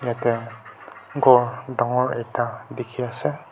te ghor dangor ekta dikhiase.